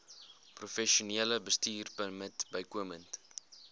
professionele bestuurpermit bykomend